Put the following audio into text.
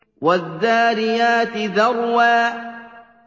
وَالذَّارِيَاتِ ذَرْوًا